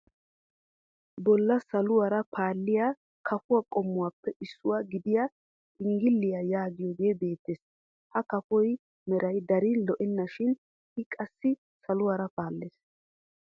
Bolla saluwaara paalliyaa kafo qommuwaappe issuwaa gidiyaa xinggiliyaa yaagiyoogee beettees. Ha kafuwaa meray darin lo"ena shin i qassi saluwaara paallees.